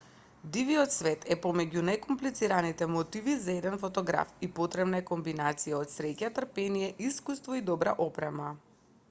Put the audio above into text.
дивиот свет е помеѓу најкомплицираните мотиви за еден фотограф и потребна е комбинација од среќа трпение искуство и добра опрема